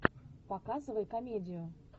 показывай комедию